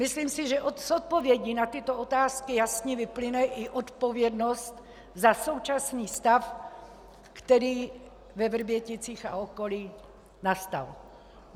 Myslím si, že z odpovědí na tyto otázky jasně vyplyne i odpovědnost za současný stav, který ve Vrběticích a okolí nastal.